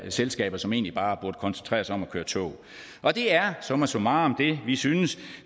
selskaber som egentlig bare burde koncentrere sig om at køre tog og det er summa summarum det vi synes